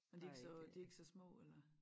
Men de ikke så de ikke så små eller